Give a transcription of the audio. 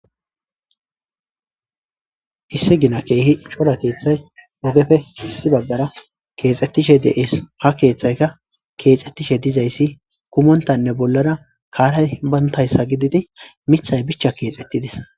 Issi bolla keeh cora kethay ogeppe issi bagara kexetishe de'es. Ha kexetishe diza kethay kumontanne bollara duge karay bantaysa gidid mithay bicha kexetides.